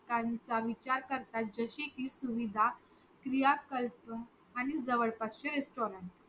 त्यांचा विचार करतात कि जसे कि सुविधा क्रियाकल्प आणि जवळपास चे restaurant